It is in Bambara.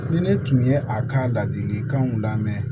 Ni ne tun ye a ka ladilikanw lamɛn